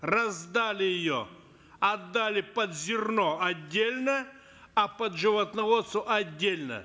раздали ее отдали под зерно отдельно а под животноводство отдельно